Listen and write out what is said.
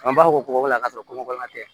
An b'a fɔ kɔgɔbana ka sɔrɔ kɔnkɔbana tɛ